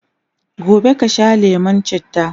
gobe kasha lemun chitta!